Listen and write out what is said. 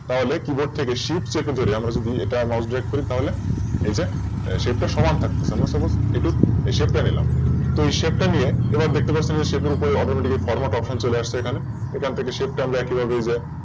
তাহলে Keyboard থেকে Shift চেপে আমরা যদি Mouse drag করি তাহলে এই যে Shape টার সমান থাকতেছে আমরা Suppose এই Shape টা নিলাম। তো এই Shape টা নিয়ে এবার দেখতে পাচ্ছেন Shape গুলো এই Atometic format option চলে আসছে এখানে এখান থেকে Shape তা আমরা একইভাবে